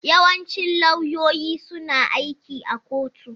Yawancin lauyoyi suna aiki a kotu.